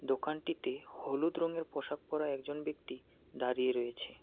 দোকানটিতে হলুদ রঙের পোশাক পরা একজন ব্যক্তি দাঁড়িয়ে রয়েছে।